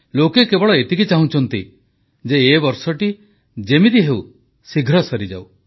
ବାସ୍ ଲୋକ କେବଳ ଏତିକି ଚାହୁଁଛନ୍ତି ଯେ ଏ ବର୍ଷଟି ଯେମିତି ହେଉ ଶୀଘ୍ର ସରିଯାଉ